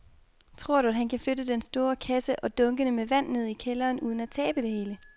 Tror du, at han kan flytte den store kasse og dunkene med vand ned i kælderen uden at tabe det hele?